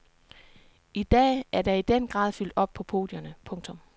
I dag er der i den grad fyldt op på podierne. punktum